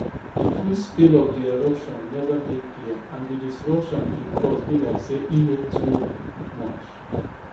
di full scale of di eruption neva dey clear and di disruption e cause be like say e no too much